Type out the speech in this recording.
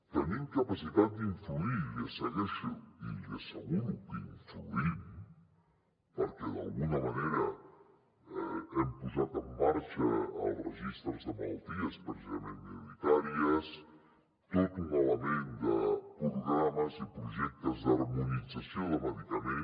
tenim capacitat d’influir i li asseguro que influïm perquè d’alguna manera hem posat en marxa els registres de malalties precisament minoritàries tot un element de programes i projectes d’harmonització de medicament